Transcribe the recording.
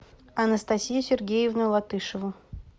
анастасию сергеевну латышеву